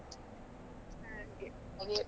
ಹಾಗೆ .